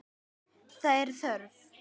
Það er þörf.